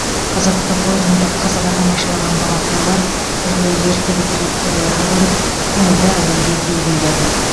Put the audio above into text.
қызықты қойылымды қызыға тамашалаған балақайлар түрлі ертегі кейіпкерлерін көріп көңілді әуенге би биледі